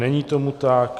Není tomu tak.